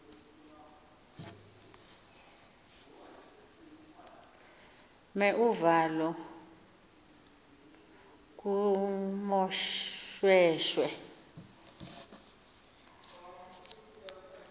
mer uvalo kumoshweshwe